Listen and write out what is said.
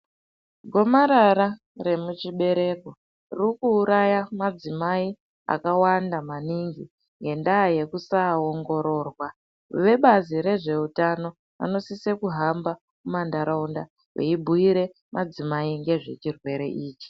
Gomarara remuchibereko riri kuuraya madzimai akawanda maningi ngendaa yekusaongororwa. Vebazi rezveutano, vanosise kuhamba mumantharaunda veibhuira madzimai ngezve chirwere ichi.